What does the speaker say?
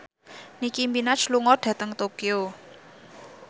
Nicky Minaj lunga dhateng Tokyo